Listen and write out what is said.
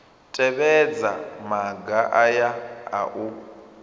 tevhedza maga aya a u